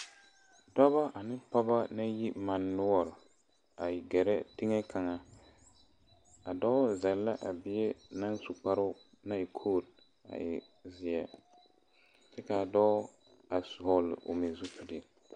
Dɔɔba ane pɔgeba naŋ e mane noɔre a gaare teŋa kaŋa a dɔɔ wa zel la a bie naŋ su kparo naŋ e koo a e ziɛ kyɛ kaa dɔɔ a vɔgle o meŋ zupele.